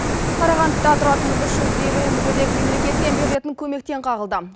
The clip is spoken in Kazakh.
қарағандыда тұратын үш жүз елу мүгедек мемлекеттен берілетін көмектен қағылды